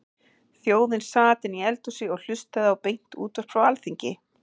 Þjóðin sat inni í eldhúsi og hlustaði á beint útvarp frá Alþingi.